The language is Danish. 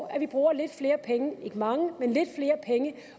at vi bruger lidt flere penge ikke mange men lidt flere penge